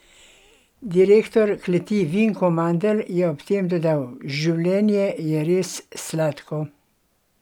Direktor kleti Vinko Mandl je ob tem dodal: "Življenje je res sladko!